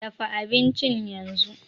Dafa abincin yanzu!